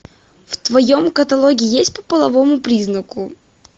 в твоем каталоге есть по половому признаку